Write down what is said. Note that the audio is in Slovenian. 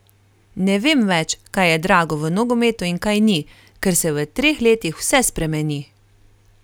Ne vem več, kaj je drago v nogometu in kaj ni, ker se v treh letih vse spremeni.